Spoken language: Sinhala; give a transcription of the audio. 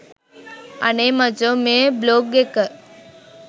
අනේ මචෝ මේ බ්ලොග් එක